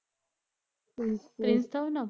Prince ਥਾ ਉਹਦਾ ਨਾ